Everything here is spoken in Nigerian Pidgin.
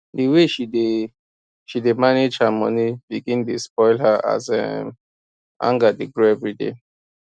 the way she dey she dey manage her money begin dey spoil as her um anger dey grow everyday